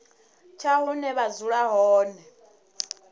tsha hune vha dzula hone